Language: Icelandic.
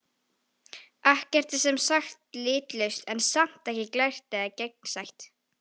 Ekkert er sem sagt litlaust, en samt ekki glært eða gegnsætt.